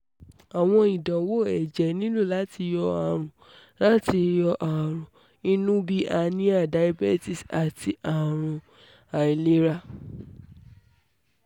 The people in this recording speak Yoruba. awọn idanwo ẹjẹ nilo lati yọ arun lati yọ arun inu bi anemia diabetes ati awọn arun ailera imun